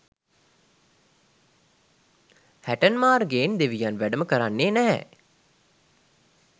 හැටන් මාර්ගයෙන් දෙවියන් වැඩම කරවන්නේ නැහැ